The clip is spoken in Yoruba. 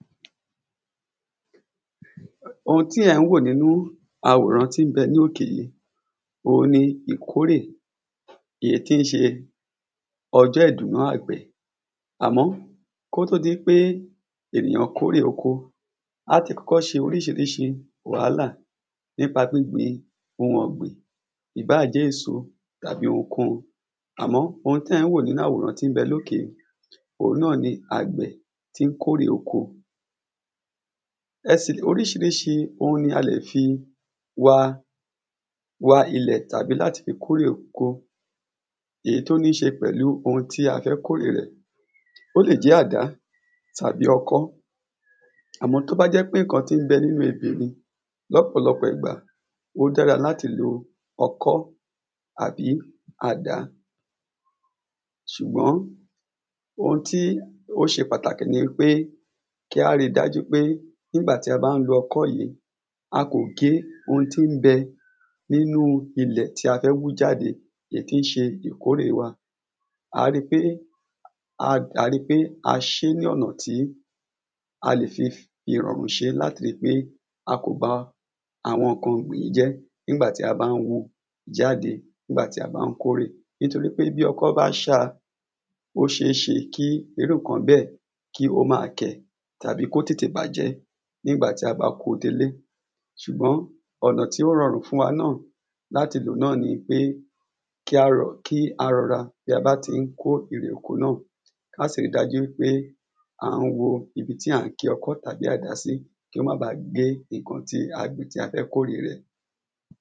ohun tí è̩ ń wò nínú àwòrán tí n be̩ lókè yìí, ohun ní ìkóre tí n s̩e o̩jó̩ ìdùnnú àgbè̩ àmó̩ kótó díipé ènìyàn kórè oko, àti kó̩kó̩ s̩e orís̩irís̩i wàhálà nípa gbígbin ohun ò̩gbìn. ìbáà èso tàbí ohunkóhun àmó̩ ohun té̩ ń wò nínú àwòrán tí n be̩ lókè yìí ohun náà ni àgbè̩ tí n kórè oko e̩ sì, orís̩irísi ohun ni a lè fi wa wa ilè̩ tàbí kórè oko, èyí tó ní s̩e pè̩lú ohun tí a fé̩ kórè rè̩. ó lè jé̩ àdá tàbí o̩kó̩ àmó̩ tó bá jé̩ pé ǹkan tí n be̩ nínú ebè ni, ló̩pò̩ló̩pò̩ ìgbà, ó dára láti lo o̩kó̩ àbí àdá. s̩ùgbó̩n ohun tí ó s̩e pàtàkì ni wípé, kí á ríi dájú pé ńgbàtí a bá ń lo o̩kó̩ yìí, a kò gé ohun tí n be̩ nínú ilè̩ tí a fé̩ wú jáde èyí tí n s̩e ìkórè wa. àá ríi pé a àá ríi pé a s̩e é ní ò̩nà tí a lè fi irò̩rùn s̩e é láti ríi pé a kò ba àwo̩n ǹkan ò̩gbìn yìí nígbà tí a bá n wu jáde nígbà tí a bá n kórè. nítorí pé bí o̩kó̩ bá s̩áa, ó s̩eés̩e kí irú ǹkan bé̩è̩ kí ó ma kè̩ tàbí kó tètè bàjé̩ nígbà tí a bá kóo délé. s̩ùgbó̩n ò̩nà tí ó ro̩rùn fún wa náà kí á ro̩, kí á ro̩ra bí a bá tí n kó erè oko náà ká sì ríi dájú wípé à ń wo ibi tí à ń ki o̩kó̩ tàbí àdá sí kí ó̩n máa bàá gé ǹkan tí a gbìn tí a fé̩ kórè rè̩.